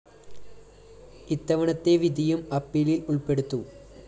ഇത്തവണത്തെ വിധിയും അപ്പീലില്‍ ഉള്‍പ്പെടുത്തും